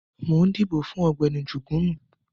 Mo ń dìbò fún Ọ̀gbẹ́ni Jugunu